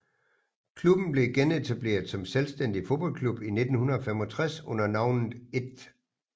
Klubben blev genetableret som selvstændig fodboldklub i 1965 under navnet 1